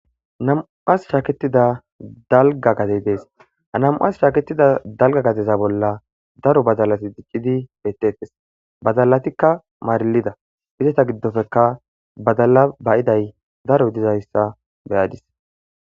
namuas shaaketida dalga gadey dees anamuas shaaketida dalga gadeza bolla daro badalati diqqidi bettettes badallatikka maarilida izeta giddofeka badalla bayiday daro dizayssa beyadis